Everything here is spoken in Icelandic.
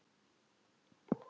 Og hún kyngir.